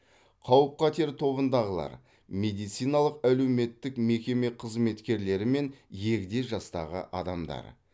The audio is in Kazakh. қауіп қатер тобындағылар медициналық әлеуметтік мекеме қызметкерлері мен егде жастағы адамдар